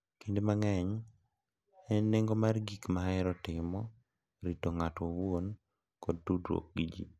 Kinde mang’eny e nengo mar gik ma ohero timo, rito ng’ato owuon, kod tudruok gi ji.